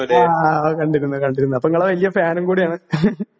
ആ ആ കണ്ടിരുന്നു കണ്ടിരുന്നു അപ്പൊ ഇങ്ങളെ വല്ല്യ ഫാനും കൂടിയാണ് .